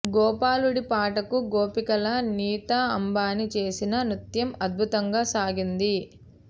గోపాలుడి పాటకు గోపికలా నీతా అంబానీ చేసిన నృత్యం అద్భుతంగా సాగింది